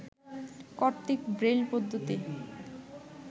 কর্তৃক ব্রেইল পদ্ধতি